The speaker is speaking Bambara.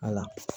Ala